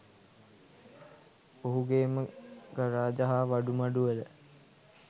ඔහුගේම garage හා වඩුමඩුවල